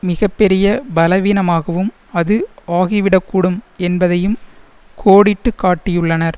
மிக பெரிய பலவீனமாகவும் அது ஆகிவிடக்கூடும் என்பதையும் கோடிட்டு காட்டியுள்ளனர்